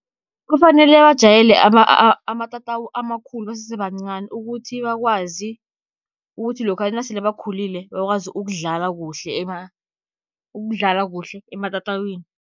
Kufanele bajayele amatatawu amakhulu basese bancani, ukuthi bakwazi ukuthi lokha nasele bakhulile bakwazi ukudlala kuhle, ukudlala kuhle ematatawini.